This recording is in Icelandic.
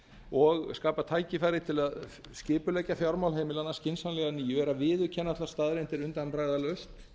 og skapa tækifæri til að skipuleggja fjármál heimilanna skynsamlega að nýju er að viðurkenna þær staðreyndir undanbragðalaust